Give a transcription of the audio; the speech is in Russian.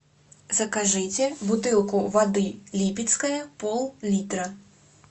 закажите бутылку воды липецкая пол литра